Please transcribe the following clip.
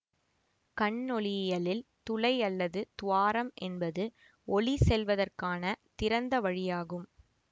கண்ணொளியியலில் துளை அல்லது துவாரம் என்பது ஒளி செல்வதற்கான திறந்த வழியாகும்